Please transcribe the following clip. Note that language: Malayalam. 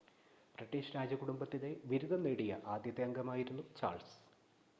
ബ്രിട്ടീഷ് രാജകുടുംബത്തിലെ ബിരുദം നേടിയ ആദ്യത്തെ അംഗമായിരുന്നു ചാൾസ്